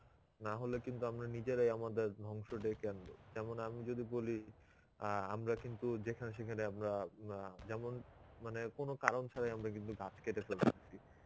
না হলে কিন্তু আমরা নিজেরাই আমাদের ধ্বংস ডেকে আনবো. যেমন আমি যদি বলি অ্যাঁ আমরা কিন্তু যেখানে সেখানে আমরা উম যেমন মানে কোনো কারণ ছাড়াই আমরা কিন্তু গাছ কেটে ফেলতেছি.